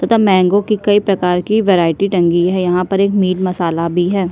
पता है मेंगो की कई प्रकार की वैरायटी टंगी है यहाँ पर एक मिट मसाला भी है।